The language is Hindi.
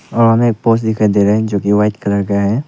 और हमें एक दिखाई दे रहा है जो कि वाइट कलर का है।